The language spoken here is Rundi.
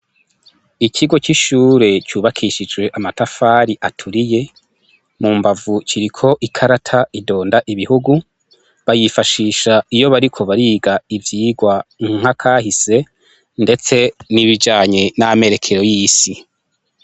Ikigo c'ishure cubakishijwe amatafari aturiye mu mbavu ciriko ikarata idonda ibihugu bayifashisha iyo bariko bariga ivyirwa nkakahise, ndetse nibijanye n'amerekero y'isi.